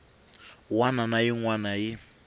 wana na yin wana yi